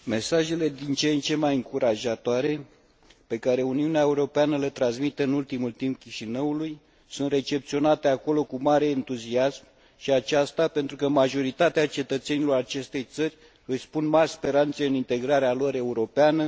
Mesajele din ce în ce mai încurajatoare pe care Uniunea Europeană le transmite în ultimul timp Chișinăului sunt recepționate acolo cu mare entuziasm și aceasta pentru că majoritatea cetățenilor acestei țări își pun mari speranțe în integrarea lor europeană.